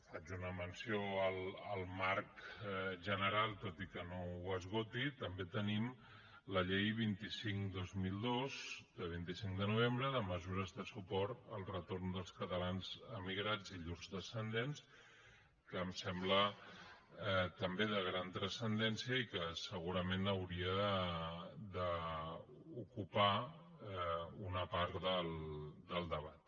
faig una menció al marc general tot i que no ho esgoti també tenim la llei vint cinc dos mil dos de vint cinc de novembre de mesures de suport al retorn dels catalans emigrats i llurs descendents que em sembla també de gran transcendència i que segurament hauria d’ocupar una part del debat